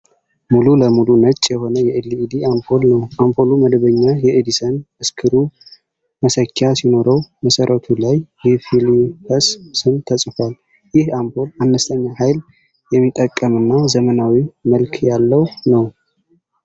ሙሉ ለሙሉ ነጭ የሆነ የኤል ኢ ዲ አምፖል ነው፡፡ አምፖሉ መደበኛ የኤዲሰን ስክሩ መሰኪያ ሲኖረው፣ መሠረቱ ላይ የፊሊፕስ ስም ተጽፏል፡፡ ይህ አምፖል አነስተኛ ኃይል የሚጠቀምና ዘመናዊ መልክ ያለው ነው፡፡